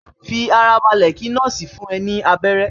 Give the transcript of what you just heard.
Fi ara balẹ̀ kí nọ́ọ̀sì le fún ẹ ní abẹ́rẹ́